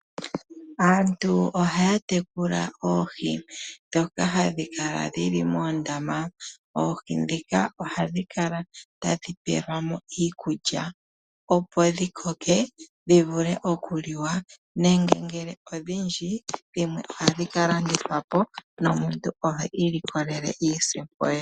Aantu oha ya tekula oohi dhoka hadhi ka la dhili moondama, oohi dhika oha dhi kala ta dhi pelwa mo iikulya opo dhi koke dhi vule oku liwa. Nenge ngele odhindji dhimwe oha dhi ka landithwa po nomuntu opo a ilikolele iisimpo ye.